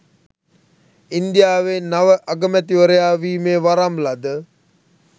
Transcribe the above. ඉන්දියාවේ නව අගමැතිවරයා වීමේ වරම් ලද